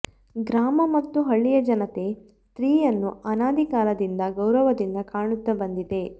ಗ್ರಾಮ ಮತ್ತು ಹಳ್ಳಿಯ ಜನತೆ ಸ್ತ್ರೀಯನ್ನು ಅನಾದಿ ಕಾಲದಿಂದ ಗೌರವದಿಂದ ಕಾಣುತ್ತ ಬಂದಿದೆ